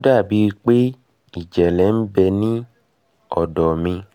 ó dà bíi pé ìjẹ́lẹ̀ ń bẹ nínú ọ̀dọ́ mi